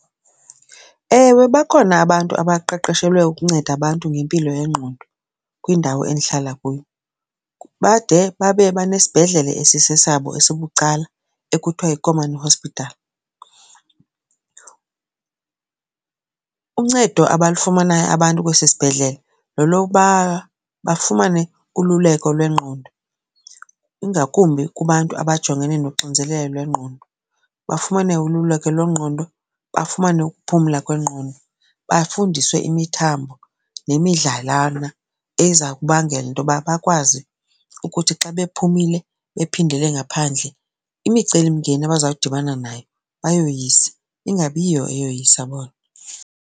Ewe, bakhona abantu abaqeqeshelwe ukunceda abantu ngempilo yengqondo kwindawo endihlala kuyo bade babe banesibhedlele esisesabo esibucala ekuthiwa yi-common hospital. Uncedo abalufumanayo abantu kwesi sibhedlele lolokuba bafumane ululeko lwengqondo ingakumbi kubantu abajongene noxinzelelo lwengqondo. Bafumane ululeko lwengqondo, bafumane ukuphumla kwengqondo. Bafundiswe imithambo nemidlalana eza kubangela into yoba bakwazi ukuthi xa bephumile bephindele ngaphandle imicelimngeni abazawudibana nayo bayoyise ingabiyiyo eyoyisa bona.